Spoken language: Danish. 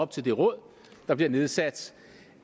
til det råd der bliver nedsat